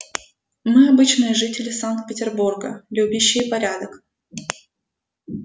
мы обычные жители санкт-петербурга любящие порядок